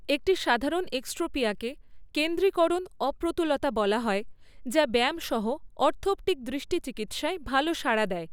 একটি সাধারণ এক্সট্রপিয়াকে কেন্দ্রীকরণ অপ্রতুলতা বলা হয় যা ব্যায়াম সহ অর্থপ্টিক দৃষ্টি চিকিৎসায় ভালো সাড়া দেয়।